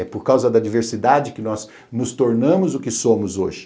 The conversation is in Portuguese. É por causa da diversidade que nós nos tornamos o que somos hoje.